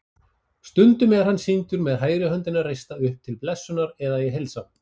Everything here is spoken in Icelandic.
Stundum er hann sýndur með hægri höndina reista upp til blessunar eða í heilsan.